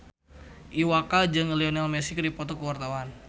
Iwa K jeung Lionel Messi keur dipoto ku wartawan